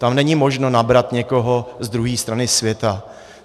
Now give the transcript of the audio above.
Tam není možno nabrat někoho z druhé strany světa.